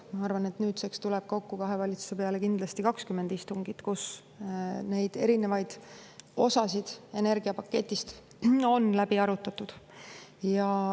Ma arvan, et nüüdseks tuleb kahe valitsuse peale kokku kindlasti 20 istungit, kus erinevaid osasid energiapaketist on arutatud.